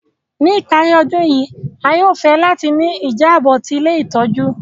Ni ìparí ọdun yi, a yóò fẹ láti ni ìjábò ti ilé ìtójú